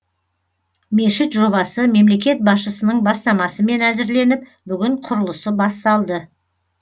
мешіт жобасы мемлекет басшысының бастамасымен әзірленіп бүгін құрылысы басталды